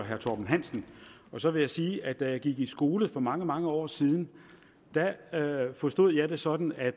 herre torben hansen og så vil jeg sige at da jeg gik i skole for mange mange år siden forstod jeg det sådan at